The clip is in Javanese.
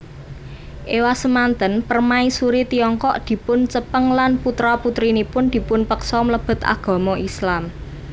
Ewasemanten Permaisuri Tiongkok dipuncepeng lan putra putrinipun dipunpeksa mlebet agama Islam